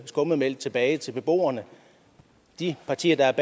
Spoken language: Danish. skummetmælk tilbage til beboerne de partier der